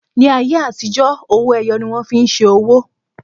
Ní ayé àtijó, ọwọ́ ẹyọ ni wón fi ń ṣe owó